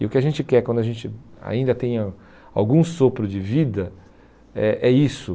E o que a gente quer, quando a gente ainda tem ah algum sopro de vida, é é isso.